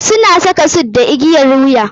Suna saka suit da igiyar wuya.